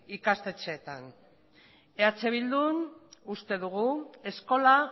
ikastetxeetan eh bildun uste dugu eskola